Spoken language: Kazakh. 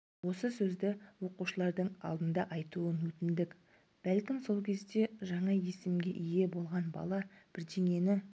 осы сөзді оқушылардың алдында айтуын өтіндік бәлкім сол кезде жаңа есімге ие болған бала бірдеңені